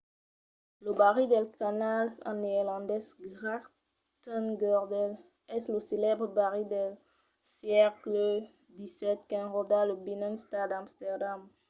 lo barri dels canals en neerlandés: grachtengordel es lo celèbre barri del sègle xvii qu'enròda lo binnenstad d'amsterdam